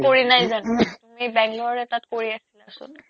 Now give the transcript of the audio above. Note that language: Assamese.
কৰি নাই যানো তুমি বেংগলৰ এটাত কৰি আছিলা চোন